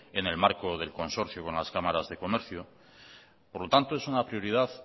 en el marco del consorcio con las cámaras de comercio por lo tanto es una prioridad